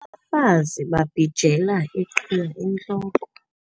Abafazi babhijela iiqhiya entloko